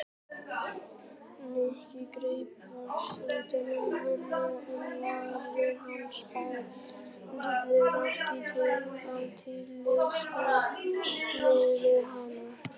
Nikki greip fast utan um hana en varir hans bærðust ekki af tillitsemi við hana.